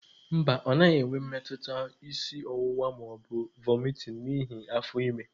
Mba, ọ naghị enwe mmetụta isi ọwụwa ma ọ bụ vomiting n'ihi afọ ime.